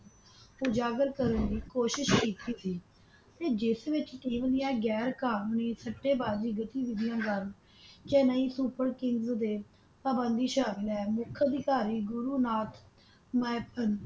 ਉਜਾਗਰ ਕਰਨ ਦੀ ਕੋਸ਼ਿਸ ਕੀਤੀ ਸੀ ਤੇ ਜਿਸ ਵਿਚ ਕੀਤੀ ਗਈਆਂ ਗੈਰ ਕੰਨੂਨੀ ਸਤੇਬਾਜੀ ਗਤੀਵਿਧੀਆਂ ਦਵਾਰਾ Chennai Super Kings ਡੇ ਤੇ ਪਾਬੰਦਿਸ਼ਾ ਲੈਣ ਦੇ ਮੁਖ ਅਧਿਕਾਰੀ ਗੁਰੂ ਨਾਥ ਨਾਇਕ ਸਨ